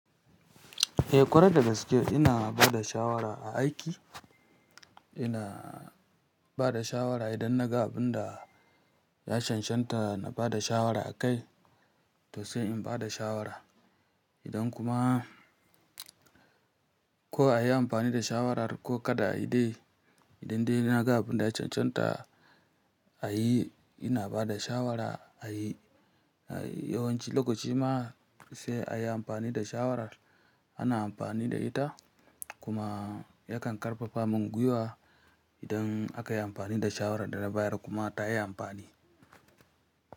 Eh kwarai dagaske ina bada shawara a aiki, ina bada shawara idan na ga abin da ya shanshanta na bada shawara akai to sai in bada shawara. Idan kuma ko a yi amfani da shawarar ko kada a yi dai, idan dai na ga abin da ya shanshanta a yi ina bada shawara a yi. Yawanci lokacin ma sai a yi amfani da shawara ana amfani da ita kuma yakan ƙarfafa mungwiwa idan aka yi amfani da shawarar da na bayar kuma ta yi amfani.